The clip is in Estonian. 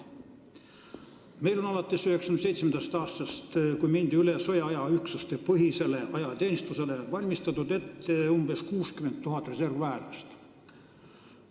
Meil on alates 1997. aastast, kui ajateenistuses mindi üle sõjaaja üksuste põhisele arvestusele, valmistatud ette umbes 60 000 reservväelast.